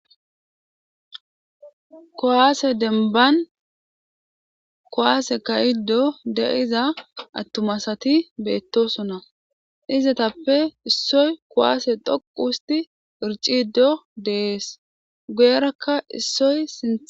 Kowaase denban kowaase kayiddo de,iza attumasati beettosona izetappe issoy kowaase dhoqu husti irciddo dees guyerakka issoy si.